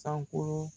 Sankolo